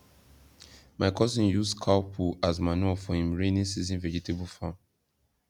my cousin use cow poo as manure for him rainy season vegetable farm